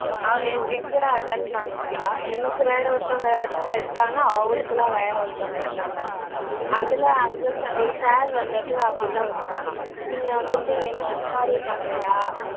அவ எ எங்கூட attend பண்ணிருந்தா எனக்கு வேற ஒருத்தவங்க attend எடுத்தாங்க அவளுக்குலாம் வேற ஒருத்தவங்க எடுத்தாங்க அதுல ஒரு sir வந்துட்டு அப்படி தான் சொன்னாராம் நீங்க வந்துட்டு மாதிரி பண்ணலயா